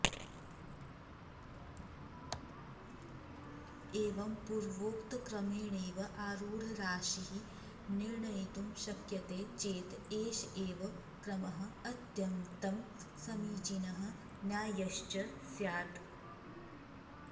एवं पूर्वोक्तक्रमेणैव आरूढराशिः निर्णयितुं शक्यते चेत् एष एव क्रमः अत्यन्तं समीचीनः न्याय्यश्च स्यात्